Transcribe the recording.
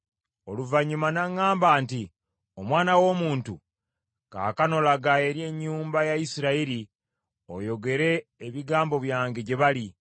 Oluvannyuma n’aŋŋamba nti, “Omwana w’omuntu, kaakano laga eri ennyumba ya Isirayiri oyogere ebigambo byange gye bali.